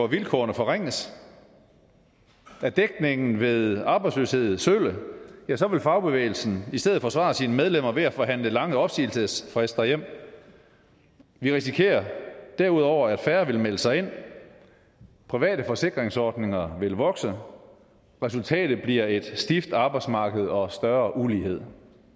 vilkår forringes er dækningen ved arbejdsløshed sølle ja så vil fagbevægelsen i stedet forsvare sine medlemmer ved at forhandle lange opsigelsesfrister hjem vi risikerer derudover at færre vil melde sig ind og at private forsikringsordninger vil vokse og resultatet bliver et stift arbejdsmarked og større ulighed